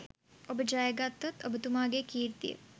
ඔබ ජයගත්තොත් ඔබතුමාගේ කීර්තිය